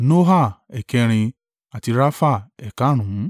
Noha ẹ̀ẹ̀kẹrin àti Rafa ẹ̀karùnún.